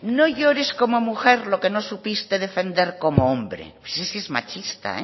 no llores como mujer lo que no supiste defender como hombre es que es machista